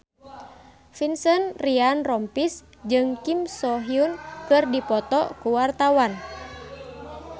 Vincent Ryan Rompies jeung Kim So Hyun keur dipoto ku wartawan